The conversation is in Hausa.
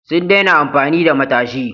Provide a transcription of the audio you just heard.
Sun daina amfani da matashi.